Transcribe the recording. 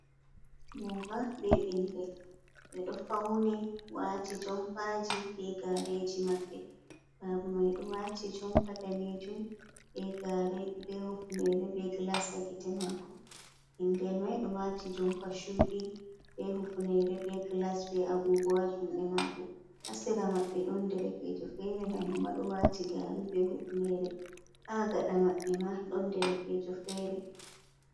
Baba be ɓingel ɓe ɗo fauni, waati jompaji be gareji maɓɓe. Baba mai ɗo wati jompa danejum be gare, be Hufunere be glas ha gite mako ɓingel mai ɗo wati jompa chudi be hufnere be glas be Agogowa juɗe mako. Ha sera maɓɓe ɗon derekejo fere hanjum ma ɗo wati gare be hufunere ha gaɗa mabbe ma ɗon derekejo fere.